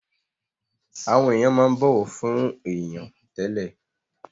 Àwọn èèyàn máa ń bọ̀wọ̀ fún èèyàn tẹ́lẹ̀